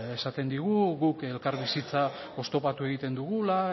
esaten digu guk elkarbizitza oztopatu egiten dugula